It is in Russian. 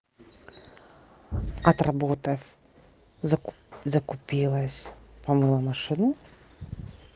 отработав закупилась помыла машину